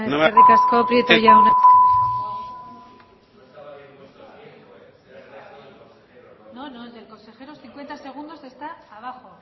eskerrik asko txarli prieto jauna eskerrik asko